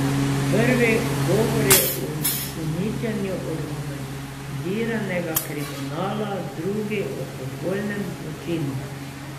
Prvi govori o uničenju organiziranega kriminala, drugi o popolnem zločinu.